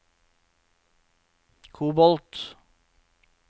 kobolt